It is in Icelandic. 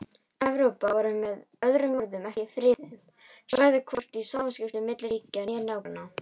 Evrópa var með öðrum orðum ekki friðað svæði hvorki í samskiptum milli ríkja né nágranna.